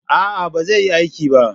A'a, ba zai yi aiki ba